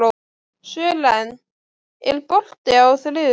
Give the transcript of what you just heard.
Sören, er bolti á þriðjudaginn?